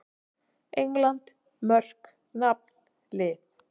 England: Mörk- Nafn- Lið.